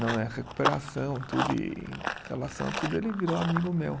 Na minha recuperação tudo, e em relação a tudo, ele virou amigo meu.